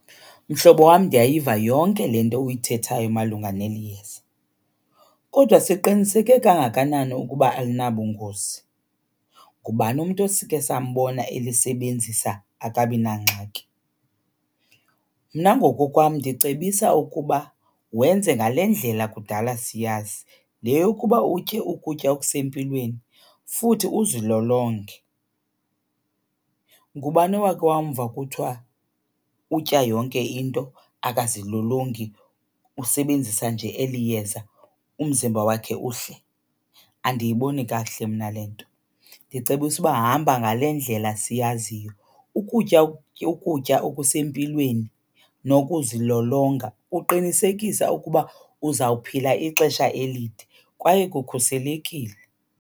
Mhlobo wam, ndiyayiva yonke le nto uyithethayo malunga neli yeza. Kodwa siqiniseke kangakanani ukuba alinabungozi? Ngubani umntu osike sambona elisebenzisa akabi nangxaki? Mna ngokokwam ndicebisa ukuba wenze ngale ndlela kudala siyazi. Le yokuba utye ukutya okusempilweni futhi uzilolonge. Ngubani owakhe wamva kuthiwa utya yonke into, akazilolongi, usebenzisa nje eli yeza umzimba wakhe uhle? Andiyiboni kakuhle mna le nto, ndicebisa uba hamba ngale ndlela siyaziyo. Ukutya ukutya okusempilweni nokuzilolonga kuqinisekise ukuba uzawuphila ixesha elide kwaye kukhuselekile.